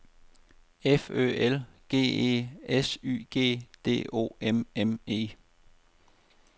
F Ø L G E S Y G D O M M E